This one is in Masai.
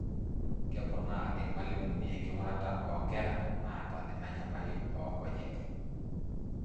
Keponaa Irmalimuni enkingurata oo nkera naata ena nyamali oonkonyek.